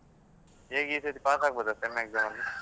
ಹೇಗೆ ಈ ಸರಿ pass ಆಗ್ಬಹುದಾ sem exam ಅಲ್ಲಿ?